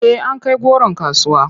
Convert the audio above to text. Eh an kai goron kasuwa.